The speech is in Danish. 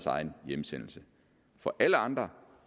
egen hjemsendelse for alle andre